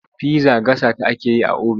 Pizza gasa ta ake yi a obin.